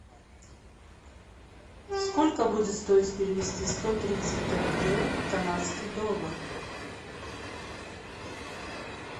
сколько будет стоить перевести сто тридцать тенге в канадский доллар